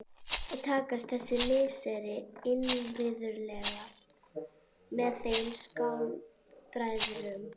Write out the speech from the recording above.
Kynni takast þessi misseri innvirðuleg með þeim skáldbræðrum.